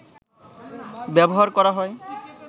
ব্যবহার করা হয়